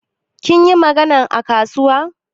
Kin yi maganan a kasuwa?